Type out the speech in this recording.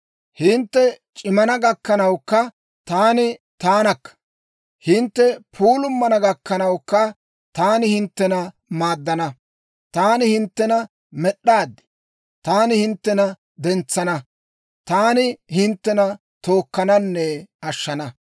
Hintte c'immana gakkanawukka taani taanakka; hintte puulumanna gakkanawukka, taani hinttena maaddana. Taani hinttena med'd'aad; taani hinttena dentsana; taani hinttena tookkananne ashshana.